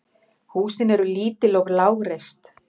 Húsin eru lítil og lágreist.